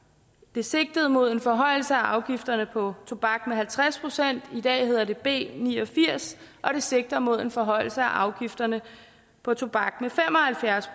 det sigtede mod en forhøjelse af afgifterne på tobak med halvtreds procent i dag hedder det b ni og firs og det sigter mod en forhøjelse af afgifterne på tobak med fem og halvfjerds